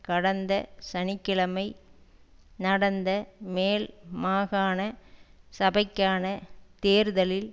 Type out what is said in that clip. கடந்த சனி கிழமை நடந்த மேல் மாகாண சபைக்கான தேர்தலில்